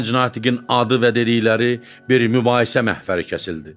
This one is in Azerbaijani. Gənc natiqin adı və dedikləri bir mübahisə məfəri kəsildi.